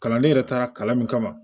Kalanden yɛrɛ taara kalan min kama